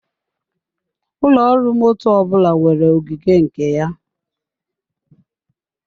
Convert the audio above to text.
Ụlọ ọrụ motto ọbụla nwere ogige nke ya.